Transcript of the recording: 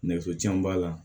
Nɛgɛso jan b'a la